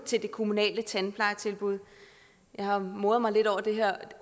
til det kommunale tandplejetilbud jeg har moret mig lidt over det her